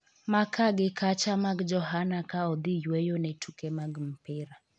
ma ka gi kacha mag Johana ka odhi yueyo ne tuke mag opira